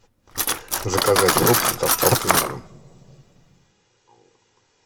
заказать фрукты с доставкой на дом